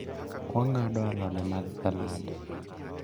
wang'ado alode mag salad